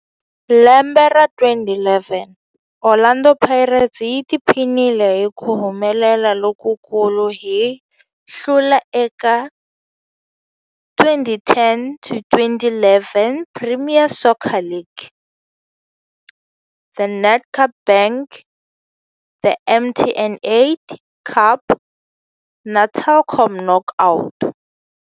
Lembe ra 2011, Orlando Pirates yi tiphinile hi ku humelela lokukulu hi ku hlula eka 2010 to 2011 Premier Soccer League, The Nedbank Cup, The MTN 8 Cup na The Telkom Knockout.